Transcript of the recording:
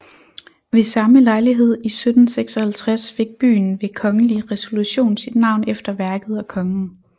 Ved samme lejlighed i 1756 fik byen ved kongelig resolution sit navn efter værket og kongen